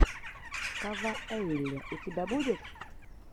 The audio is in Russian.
кавайэлли у тебя будет